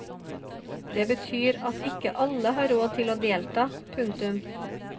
Det betyr at ikke alle har råd til å delta. punktum